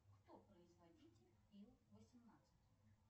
кто производитель ил восемнадцать